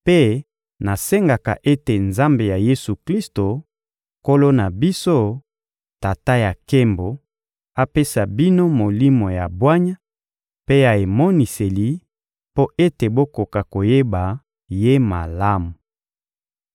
mpe nasengaka ete Nzambe ya Yesu-Klisto, Nkolo na biso, Tata ya nkembo, apesa bino Molimo ya bwanya mpe ya emoniseli mpo ete bokoka koyeba Ye malamu.